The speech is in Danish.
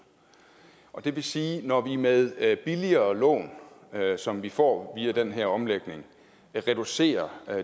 og det vil sige at når vi med billigere lån som vi får via den her omlægning kan reducere